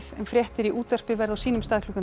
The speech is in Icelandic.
en fréttir í útvarpi verða á sínum stað klukkan